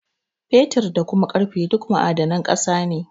Fetur, da kuma ƙarfe duk ma'adanan ƙasa ne.